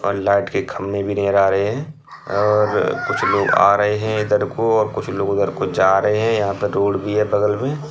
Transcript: और लाइट के खंबे नज़र आ रहे हैं| और कुछ लोग आ रहे हैं इधर को और कुछ लोग उधर को जा रहे हैं| यहाँ पर रोड भी है बगल में।